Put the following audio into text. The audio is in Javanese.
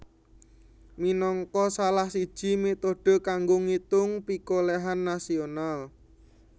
minangka salah siji métode kanggo ngitung pikolèhan nasional